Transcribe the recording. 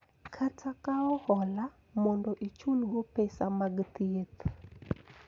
Kata kawo hola mondo ichulgo pesa mag thieth .